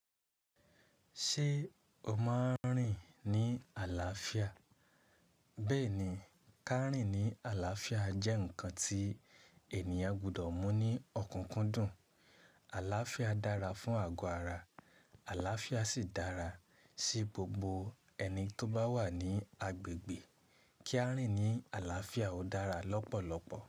Ṣé o máa ń rìn ní àlàáfíà? Bẹ́ẹ̀ni, ká rìn ní àlàáfíà jẹ́ nǹkan tí ènìyàn gbọdọ̀ mú ní ọ̀kúnkúndùn. Alàáfíà dára fún àgọ́ ara, àlàáfíà sì dára sí gbogbo ẹni tó bá wà ní agbègbè. Kí a rìn ní àlàáfíà ó dára lọ́pọ̀lọpọ̀.